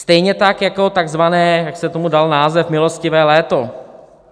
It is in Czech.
Stejně tak jako takzvané, jak se tomu dal název, milostivé léto.